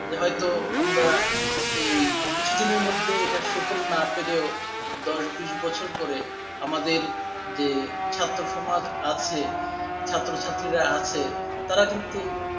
হয়তো আমরা এই কিছুদিনের মধ্যেই এটার সুফল না পেলেও দশ বছর পরে আমাদের যে ছাত্রসমাজ আছে, ছাত্রছাত্রীরা আছে তারা কিন্তু,